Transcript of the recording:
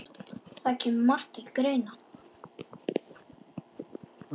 Það kemur margt til greina